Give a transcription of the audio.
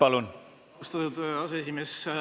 Austatud aseesimees!